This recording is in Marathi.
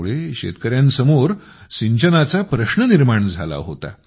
त्यामुळे शेतकऱ्यांसमोर सिंचनाचा प्रश्न निर्माण झाला होता